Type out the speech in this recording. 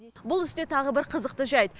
бұл істе тағы бір қызықты жайт